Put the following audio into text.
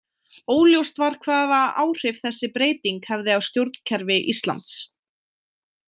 Óljóst var hvaða áhrif þessi breyting hefði á stjórnkerfi Íslands.